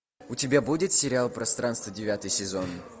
у тебя будет сериал пространство девятый сезон